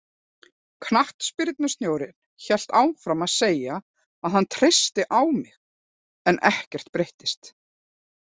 Knattspyrnustjórinn hélt áfram að segja að hann treysti á mig en ekkert breyttist.